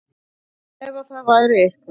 En ef að það væri eitthvað